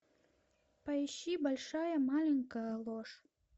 поищи большая маленькая ложь